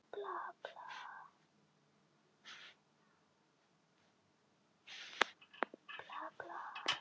Er honum ekki ljóst að ég er konungur Danmerkur, Noregs, Íslands og Færeyja?